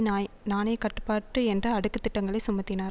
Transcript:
நா நாணய கட்டுப்பாடு என்ற அடுக்கு திட்டங்களை சுமத்தினார்